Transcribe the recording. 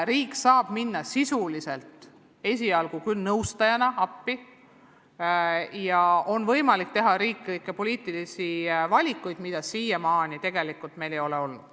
Riik saab minna sisuliselt, esialgu küll nõustajana appi ja on võimalik teha riiklikke poliitilisi valikuid, mida meil siiamaani tegelikult tehtud ei ole.